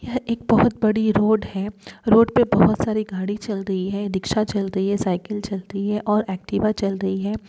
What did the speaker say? यह एक बहुत बड़ी रोड है। रोड पे बहुत सारी गाडी चल रही है। रिक्शा चल रही है साइकिल चल रही है। और एक्टिवा चल रही है।